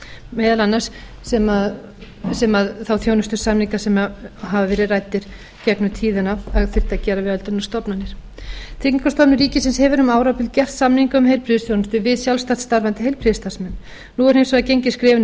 meðal annars þá þjónustusamninga sem hafa verið ræddir gegnum tíðina að þyrfti að gera við öldrunarstofnanir tryggingastofnun ríkisins hefur um árabil gert samninga um heilbrigðisþjónustu við sjálfstætt starfandi heilbrigðisstarfsmenn nú er hins vegar gengið skrefinu